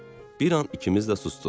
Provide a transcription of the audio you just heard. Bir an ikimiz də susduq.